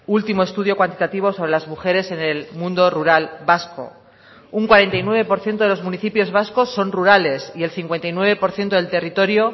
último estudio cuantitativo sobre las mujeres en el mundo rural vasco un cuarenta y nueve por ciento de los municipios vascos son rurales y el cincuenta y nueve por ciento del territorio